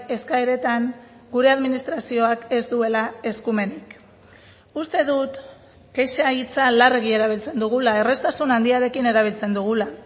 eskaeretan gure administrazioak ez duela eskumenik uste dut kexa hitza larregi erabiltzen dugula erraztasun handiarekin erabiltzen dugula